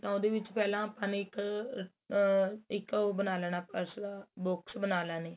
ਤਾਂ ਉਹਦੇ ਵਿੱਚ ਪਹਿਲਾਂ ਆਪਾਂ ਨੇ ਇੱਕ ਆ ਇੱਕ ਉਹ ਬਣਾ ਲੈਣਾ purse box ਬਣਾ ਲੈਣਾ